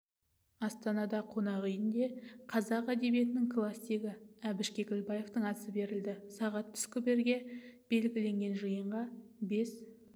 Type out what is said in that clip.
астанада қонақ үйінде қазақ дебиетінің классигі біш кекілбаевтың асы берілді сағат түскі бірге белгіленген жиынға бес